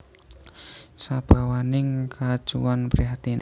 Sabawaning kacuwan prihatin